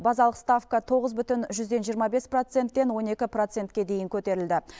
базалық ставка тоғыз бүтін жүзден жиырма бес проценттен он екі процентке дейін көтерілді